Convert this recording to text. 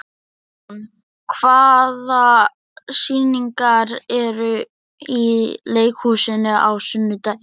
Hugrún, hvaða sýningar eru í leikhúsinu á sunnudaginn?